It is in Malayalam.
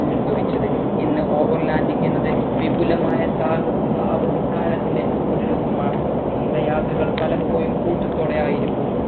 ഉത്ഭവിച്ചത് ഇന്ന് over landing എന്നത് വിപുലമായ സാഹസിക അവധി കാലത്തിന്റെ ഒരു രൂപമാണ് നീണ്ടയാത്രകൾ പലപ്പോഴും കൂട്ടത്തോടെ ആയിരിക്കും